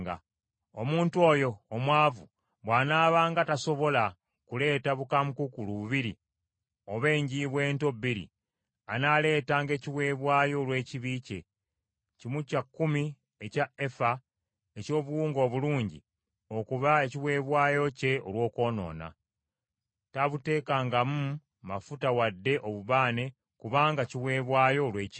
“ ‘Omuntu oyo omwavu bw’anaabanga tasobola kuleeta bukaamukuukulu bubiri oba enjiibwa ento bbiri, anaaleetanga ekiweebwayo olw’ekibi kye, kimu kya kkumi ekya efa eky’obuwunga obulungi okuba ekiweebwayo kye olw’okwonoona. Taabuteekengamu mafuta wadde obubaane, kubanga kiweebwayo olw’ekibi.